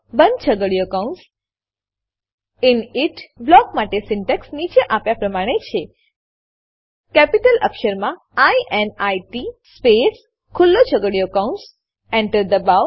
બંધ છગડીયો કૌંસ ઇનિટ બ્લોક માટે સિન્ટેક્સ નીચે આપ્યા પ્રમાણે છે કેપિટલ અક્ષરમાં ઇનિટ સ્પેસ ખુલ્લો છગડીયો કૌંસ Enter દબાવો